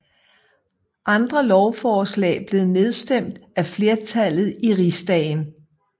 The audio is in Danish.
Andre lovforslag blev nedstemt af flertallet i rigsdagen